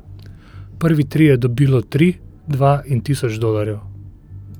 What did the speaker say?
Prvi trije dobilo tri, dva in tisoč dolarjev.